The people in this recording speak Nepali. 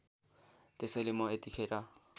त्यसैले म यतिखेर